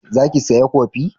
Za ki saya kofi?